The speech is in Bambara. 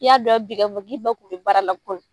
I y'a dɔn bi kɔfɛ k'i ba tun bɛ baara la kunun